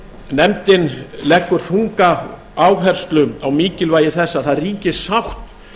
nefndin leggur þunga áherslu á mikilvægi þess að það ríki sátt